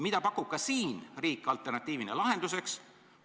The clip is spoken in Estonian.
Mida pakub riik ka siin alternatiivina lahenduseks?